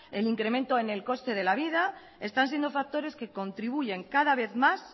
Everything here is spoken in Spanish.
el incremento en el coste de la vida están siendo factores que contribuyen cada vez más